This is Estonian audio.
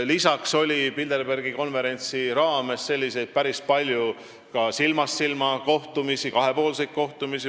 Lisaks oli Bilderbergi konverentsil päris palju silmast silma kohtumisi, kahepoolseid kohtumisi.